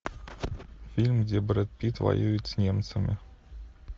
фильм где брэд питт воюет с немцами